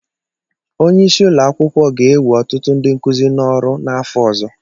Onye isi ụlọ akwụkwọ ga-ewe ọtụtụ ndị nkuzi n'ọrụ n'afọ ọzọ